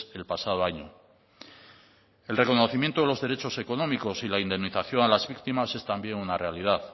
el pasado año el reconocimiento de los derechos económicos y la indemnización a las víctimas es también una realidad